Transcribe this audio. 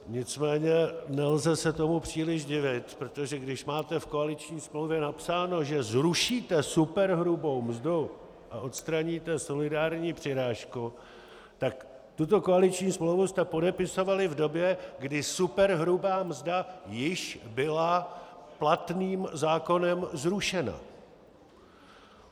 Nicméně nelze se tomu příliš divit, protože když máte v koaliční smlouvě napsáno, že zrušíte superhrubou mzdu a odstraníte solidární přirážku, tak tuto koaliční smlouvu jste podepisovali v době, kdy superhrubá mzda již byla platným zákonem zrušena.